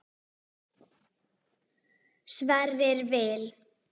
Sverrir Vil.